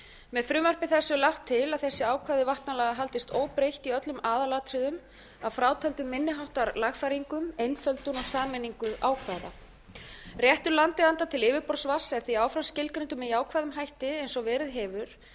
með frumvarpi þessu er lagt til að þessi ákvæði vatnalaga haldist óbreytt í öllum aðalatriðum að frátöldum minni háttar lagfæringum einföldun og sameiningu ákvæða réttur landeigenda til yfirborðsvatns er því áfram skilgreindur með jákvæðum hætti eins og verið hefur